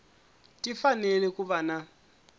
ti fanele ku va na